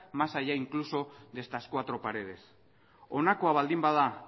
más allá incluso de estas cuatro paredes honakoa baldin bada